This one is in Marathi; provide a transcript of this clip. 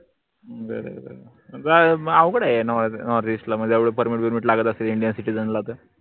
बर बर म अवघड ए northeast ला म्हनजे एवढे permit गिरमिट लागत असेल indian citizen ला त